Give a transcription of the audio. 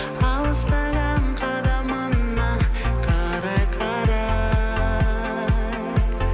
алыстаған қадамыңа қарай қарай